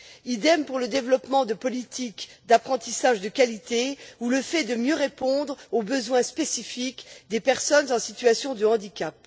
Idem pour le développement de politiques d'apprentissage de qualité ou le fait de mieux répondre aux besoins spécifiques des personnes en situation de handicap.